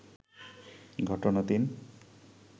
ঘটনা-৩